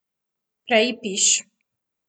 Prej piš.